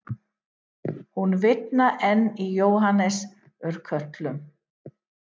Hún vitnar enn í Jóhannes úr Kötlum